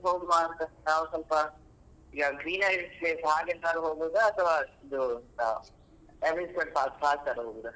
ಎಲ್ಲಿಗೆ ಹೋಗುವಂತ ನಾವ್ ಸ್ವಲ್ಪ ಈ greenery place ಹಾಗೆಂತ ಹೋಗುದಾ ಅಥವಾ ಇದು amusement park ಆತರ ಹೋಗುದಾ?